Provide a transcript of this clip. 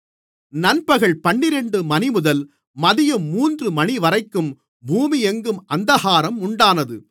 நண்பகல் பன்னிரண்டு மணிமுதல் மதியம் மூன்று மணிவரைக்கும் பூமியெங்கும் அந்தகாரம் உண்டானது